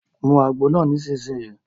Mu àgbo náà nísìsiyìí!